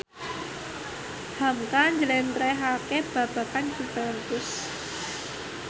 hamka njlentrehake babagan Juventus